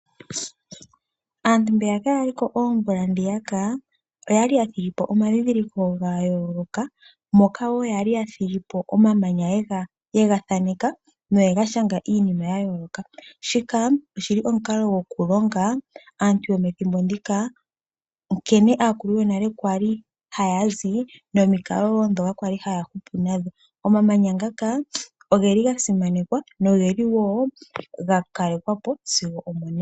Aantu mbeyaka ya liko oomvula dhiyaka, oya li ya thigipo omadhidhiliko gayooloka, moka woo yali ya thigi po omamanya ye ga thaneka no ye ga shanga iinima ya yooloka. Shika oshili omukalo gokulonga aantu yomethimbo ndika, nkene aakuluyonale kwali ha ya zi nomikalo dhoka kwali haya hupu nadho. Omamanya ngaka ogeli ga simanekwa nogeli woo gakalekwa po sigo omonena.